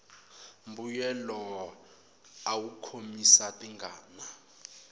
mbuyelo awu khomisa tingana